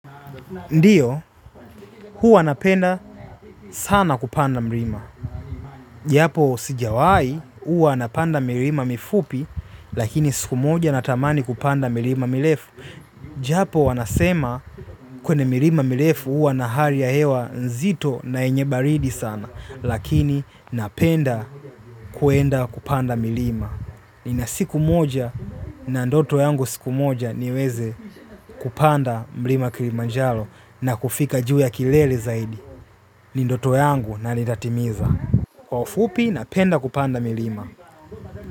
Ndiyo, huwa napenda sana kupanda mlima. Japo sijawai huwa napenda mlima mifupi, lakini sikumoja natamani kupanda mlima milefu. Japo wanasema kwenye mlima milefu hua na hari ya hewa nzito na yenyebaridi sana, lakini napenda kuenda kupanda mlima. Ni na siku moja na ndoto yangu siku moja niweze kupanda mlima kilimanjalo na kufika juu ya kilele zaidi. Ni ndoto yangu na nitatimiza. Kwa ufupi napenda kupanda milima.